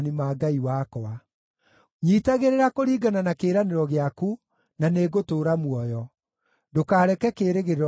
Nyiitagĩrĩra kũringana na kĩĩranĩro gĩaku, na nĩngũtũũra muoyo; ndũkareke kĩĩrĩgĩrĩro gĩakwa kĩharagane.